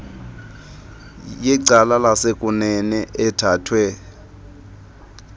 yecala lasekunene ethathwe